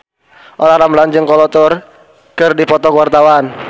Olla Ramlan jeung Kolo Taure keur dipoto ku wartawan